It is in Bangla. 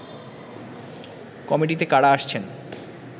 কমিটিতে কারা আসছেন